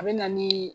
A bɛ na ni